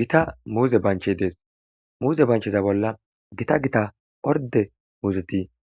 Guta muze banchey Des, muze bancheza bolla Gita Gita orde muuzet